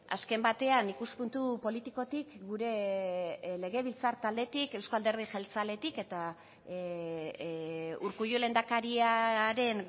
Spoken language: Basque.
azken batean ikuspuntu politikotik gure legebiltzar taldetik euzko alderdi jeltzaletik eta urkullu lehendakariaren